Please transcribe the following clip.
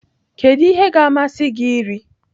Kedu ihe ga-amasị gị iri?